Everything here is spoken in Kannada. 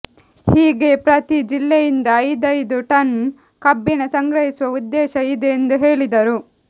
ಹೀಗೆ ಪ್ರತಿ ಜಿಲ್ಲೆಯಿಂದ ಐದೈದು ಟನ್ ಕಬ್ಬಿಣ ಸಂಗ್ರಹಿಸುವ ಉದ್ದೇಶ ಇದೆ ಎಂದು ಹೇಳಿದರು